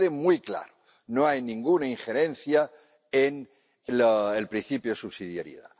Que quede muy claro no hay ninguna injerencia en el principio de subsidiariedad